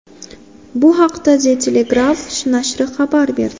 Bu haqda The Telegraph nashri xabar berdi .